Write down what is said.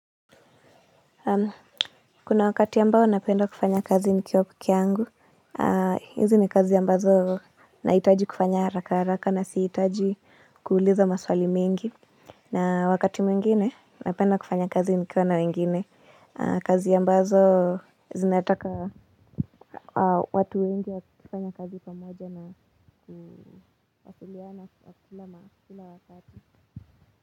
Kuna wakati ambao napenda kufanya kazi nikiwa peke yangu, hizi ni kazi ambazo nahitaji kufanya harakaharaka na sihitaji kuuliza maswali mengi. Na wakati mwingine napenda kufanya kazi nikiwa na wengine, kazi ambazo zinataka watu wengi wakifanya kazi pamoja na kufatiliana kila wakati.